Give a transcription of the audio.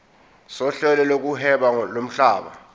sohlelo lokuhweba lomhlaba